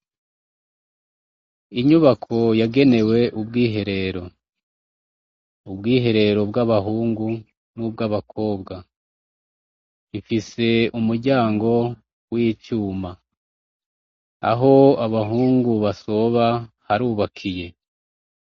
Inyubako yagenewe ubwiherero, ubwiherero bw’abahungu nubwabakobwa, ifise umuryango w’icuma, aho abahungu basoba harubakiye.